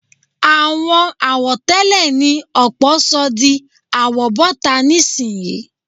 Àwọn àwọ̀tẹ́lẹ̀ ni ọ̀pọ̀ sọ di àwọ̀bọ́ta nísìnyí